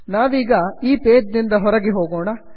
ನಾವೀಗ ಈ ಪೇಜ್ ನಿಂದ ಹೊರಗೆ ಹೋಗೋಣ